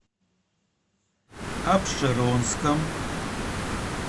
апшеронском